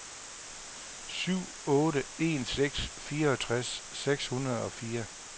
syv otte en seks fireogtres seks hundrede og fire